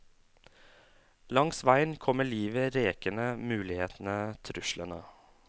Langs veien kommer livet rekende, mulighetene, truslene.